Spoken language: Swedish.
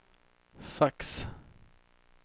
fax